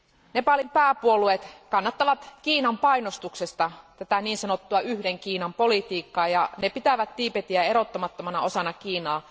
Nepalin pääpuolueet kannattavat Kiinan painostuksesta tätä niin sanottua yhden Kiinan politiikkaa, ja ne pitävät Tiibetiä erottamattomana osana Kiinaa.